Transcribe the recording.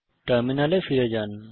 টার্মিনালে ফিরে যান